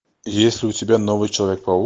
есть ли у тебя новый человек паук